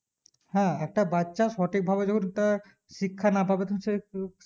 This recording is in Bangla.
হ্যাঁ একটা বাচ্চা সঠিক ভাবে যখন তার শিক্ষা না পাবে তখন সে